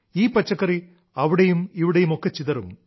ഈ പച്ചക്കറി അവിടെയും ഇവിടെയുമൊക്കെ ചിതറും